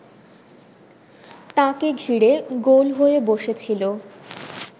তাঁকে ঘিরে গোল হয়ে বসেছিল